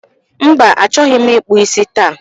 Mba, achọghị ịkpụ isi taa